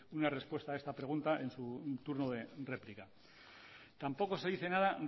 una respuesta a esta pregunta en su turno de réplica tampoco se dice nada